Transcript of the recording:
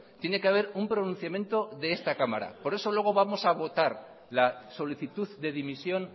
tiene que haber un pronunciamiento de esta cámara por eso luego vamos a votar la solicitud de dimisión